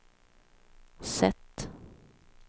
sätt